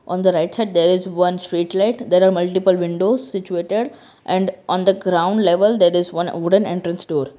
on the right side there is one street light there are multiple windows situated and on the ground level there is one wooden entrance door.